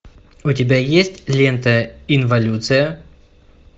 у тебя есть лента инволюция